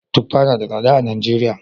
Tuffa na da tsada a Najeriya